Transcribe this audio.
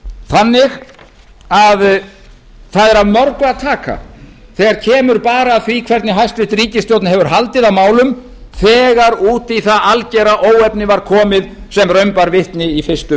það er því af mörgu að taka þegar kemur að því hvernig hæstvirt ríkisstjórn hefur haldið á málum þegar út í það algera óefni var komið sem raun bar vitni í fyrstu